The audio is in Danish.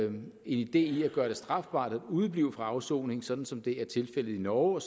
en idé at gøre det strafbart at udeblive fra afsoning sådan som det er tilfældet i norge